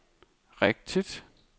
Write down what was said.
rigtigt